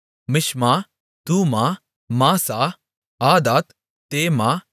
மிஷ்மா தூமா மாசா ஆதாத் தேமா